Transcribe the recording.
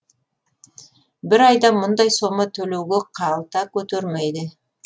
бір айда мұндай сома төлеуге қалта көтермейді